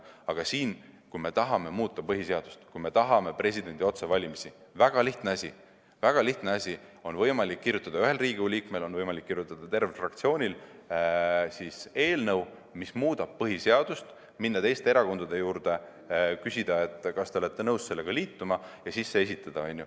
Aga kui me tahame muuta põhiseadust, kui me tahame presidendi otsevalimisi, siis on väga lihtne asi: on võimalik kirjutada ühel Riigikogu liikmel ja on võimalik kirjutada tervel fraktsioonil eelnõu, mis muudab põhiseadust, minna teiste erakondade juurde ja küsida, kas nad on nõus sellega liituma, ja siis see esitada.